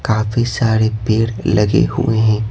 काफी सारे पेड़ लगे हुए हैं।